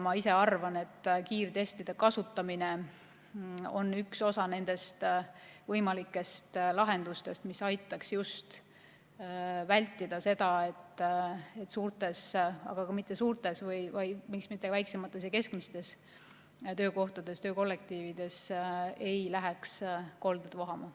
Ma ise arvan, et kiirtestide kasutamine on üks osa võimalikest lahendustest, mis aitaks just vältida seda, et suurtes – aga mitte ainult suurtes, vaid miks mitte ka väiksemates ja keskmistes – töökollektiivides ei läheks kolded vohama.